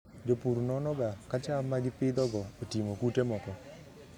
Jopur nonoga ka cham ma gipidhogo oting'o kute moko.